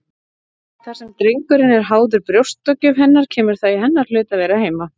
Þar sem drengurinn er háður brjóstagjöf hennar kemur það í hennar hlut að vera heima.